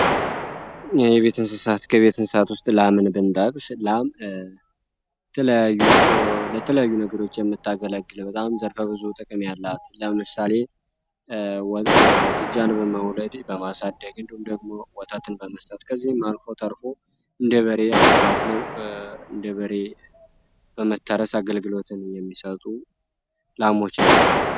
የቤት እንስሳት ከቤት እንስሳት ውስጥ ላምን ብንጠቅስ ላም ለተለያዩ አገልግሎቶች የሚታገለግለው ዘርፈ ብዙ ጥቅም ያላት ለምሳሌ ጥጃን በመውለድ በማሳደግ እንደዚሁም ደግሞ ወተትን በመስጠት ከዚህም አልፎ ተርፎ እንደበሬ እንኮ እንደ በሬ በመታረስ አገልግሎትን የሚሰጡ ላሞች ናቸው።